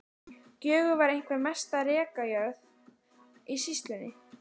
Gjögur var einhver mesta rekajörð í sýslunni.